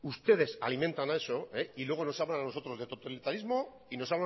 ustedes alimentan a eso y luego nos hablan a nosotros de totalitarismo y nos